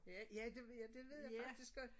Ja ja det ja det ved jeg faktisk godt